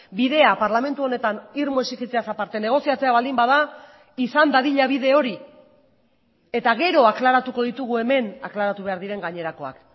bidea parlamentu honetan irmo exigitzeaz aparte negoziatzea baldin bada izan dadila bide hori eta gero aklaratuko ditugu hemen aklaratu behar diren gainerakoak